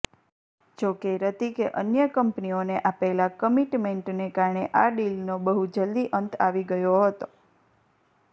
જોકે હૃતિકે અન્ય કંપનીઓને આપેલાં કમિટમેન્ટને કારણે આ ડીલનો બહુ જલદી અંત આવી ગયો હતો